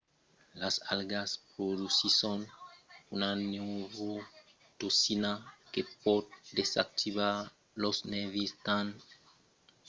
las algas produsisson una neurotoxina que pòt desactivar los nèrvis tant en çò dels umans que dels peisses